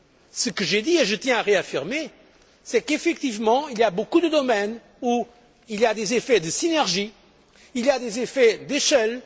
Ce que j'ai dit et que je tiens à réaffirmer c'est qu'effectivement il y a beaucoup de domaines où il y a des effets de synergie, il y a des effets d'échelle.